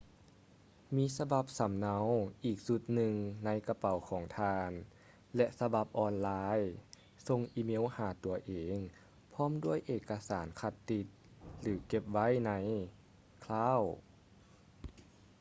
ມີສະບັບສຳເນົາອີກຊຸດໜຶ່ງໃນກະເປົາຂອງທ່ານ ແລະ ສະບັບອອນໄລ ສົ່ງອີເມວຫາຕົວເອງພ້ອມດ້ວຍເອກະສານຄັດຕິດ ຫຼື ເກັບໄວ້ໃນ ຄຼາວ cloud”